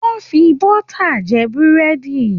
Wọ́n fi bọ́tà jẹ Búrẹ́dì